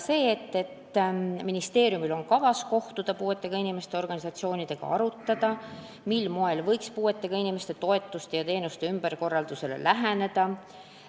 Ministeeriumil on kavas kohtuda ka puuetega inimeste organisatsioonidega ning arutada, mil moel võiks puuetega inimeste toetuste ja teenuste ümberkorraldusele läheneda.